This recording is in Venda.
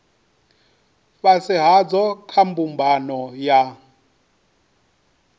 fhasi hadzo kha mbumbano ya